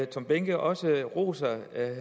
tom behnke også roser